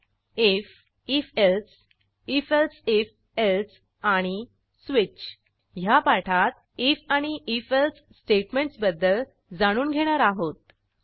if if else if elsif else आणि switch ह्या पाठात आयएफ आणि if एल्से स्टेटमेंटसबद्दल जाणून घेणार आहोत